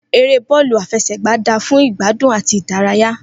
Eré bọọlu afesegba da fún fún igbadun àti ìdárayá